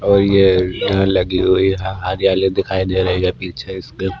और ये डाल लगी हुई है हरियाली दिखाई दे रही है पीछे इसके--